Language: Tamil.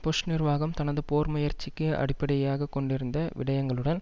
புஷ் நிர்வாகம் தனது போர் முயற்சிக்கு அடிப்படையாக கொண்டிருந்த விடையங்களுடன்